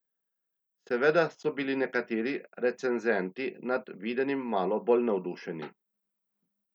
Seveda so bili nekateri recenzenti nad videnim malo bolj navdušeni.